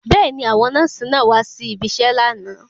Bẹ́ẹ̀ni, àwọn nọ́ọ̀sì náà wá si ibiṣẹ́ lánàá.